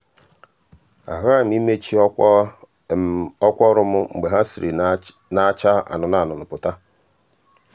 a ghaghị m ị mechi ọkwa ọkwa ọrụ m mgbe ha siri na-acha anụnụ anụnụ pụta.